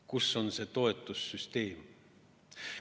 Kus on see toetussüsteem?